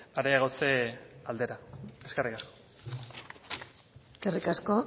areagotze aldera eskerrik asko eskerrik asko